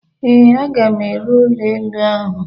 Ee, aga m ere ụlọ elu ahụ.